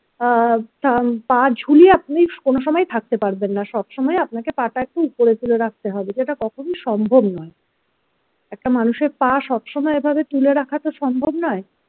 আহ পা ঝুলিয়ে আপনি কোন সময় থাকতে পারবেন না সব সময় আপনাকে পা টা একটু উপরে তুলে রাখতে হবে যেটা কখনোই সম্ভব নয় একটা মানুষের পা সবসময় এভাবে তুলে রাখা তো সম্ভব নয়।